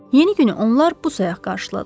Yeni günü onlar bu sayaq qarşıladılar.